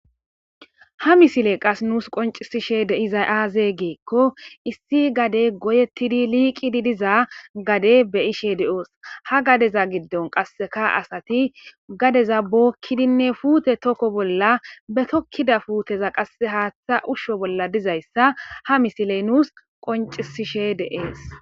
ha misile qas nuus qoncisishe de iza aaze geekko issi gade goyettidi liiqidi diza gade be ishe de7oos ha gadeza giddon qasseka asati gadeza bookkidinne puute tokko bolla be tokkida fuuteza qasse haaththa ushsho bolla dizayssa ha misiley nuus qoncisishe deees